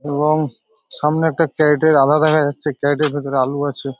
এবং সামনে একটা ক্যারিটের আধা দেখা যাচ্ছে ক্যারিটের ভিতরে আলু আছে।